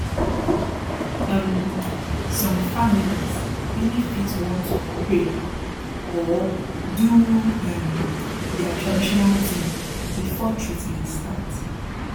um som families reali fit want to pray or do um their traditional tin before treatment start